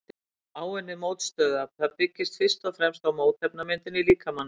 Áunnið mótstöðuafl: Það byggist fyrst og fremst á mótefnamyndun í líkamanum.